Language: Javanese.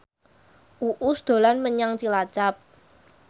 Uus dolan menyang Cilacap